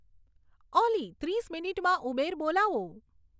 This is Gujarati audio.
ઓલી ત્રીસ મિનીટમાં ઉબેર બોલાવો